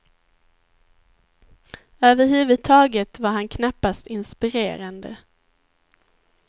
Över huvud taget var han knappast inspirerande.